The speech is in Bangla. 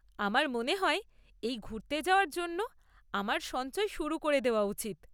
আমার মনে হয় এই ঘুরতে যাওয়ার জন্য আমার সঞ্চয় শুরু করে দেওয়া উচিত।